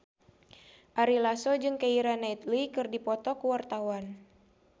Ari Lasso jeung Keira Knightley keur dipoto ku wartawan